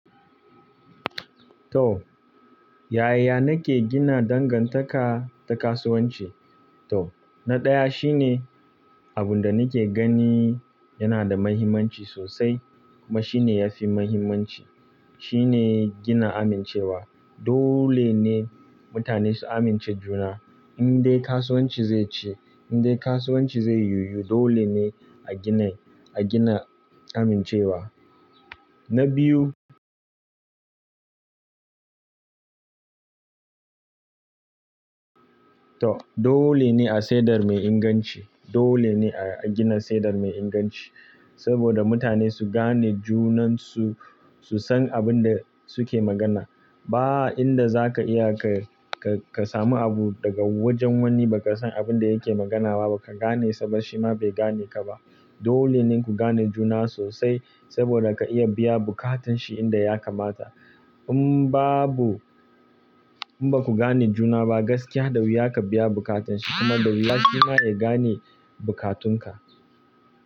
To, yaya nake gina dangantaka ta kasuwanci? To, na ɗaya shine abin da nake gani yana da mahimmanci sosai kuma shine yafi mahimmanci shine gina amincewa. Dole ne mutane su amince juna. Indai kasuwanci zai ci, indai kasuwanci zai yiyu dole ne a gina, a gina amincewa. Na biyu, to dole ne a sayar mai inganci. Dole ne a gina sayar da mai inganci saboda mutane su gane junansu, su san abin da suke magana. Ba inda zaka iya ka, ka, ka samu abu daga wajen wani ba ka san abin da yake magana ba, ba ka gane saba shi ma bai gane ka ba. Dole ne ku gane juna sosai saboda ka iya biya buƙatun shi inda ya kamata. In babu, in baku gane juna ba gaskiya da wuya ka biya buƙatun shi kuma da wuya shi ma ya gane buƙatun ka.